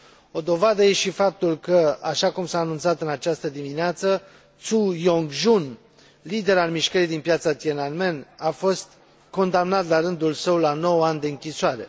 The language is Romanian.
O dovadă e și faptul că, așa cum s a anunțat în această dimineață, Tzu Yong Jun, lider al mișcării din Piața Tiananmen a fost condamnat, la rândul său, la 9 ani de închisoare.